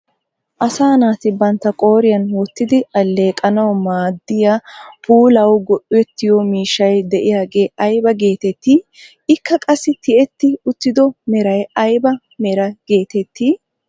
Asaa naati bantta qooriyaan wottidi alleeqanawu maaddiyaa puulawu go"ettiyo miishshay de'iyaagee aybaa getettii? ikka qassi tiyetti uttido meray ayba meraa getettii?